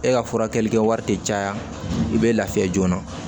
E ka furakɛli kɛwari tɛ caya i bɛ lafiya joona